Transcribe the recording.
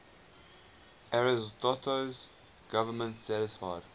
ariosto's government satisfied